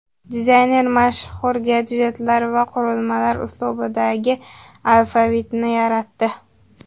Dizayner mashhur gadjetlar va qurilmalar uslubidagi alfavitni yaratdi .